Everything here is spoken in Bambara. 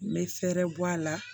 N bɛ fɛɛrɛ bɔ a la